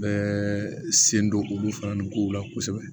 Bɛɛ sen don olu fana nin kow la kosɛbɛ